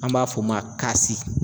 An b'a f'o ma